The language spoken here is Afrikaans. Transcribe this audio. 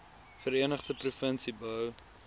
verenigde provinsie bou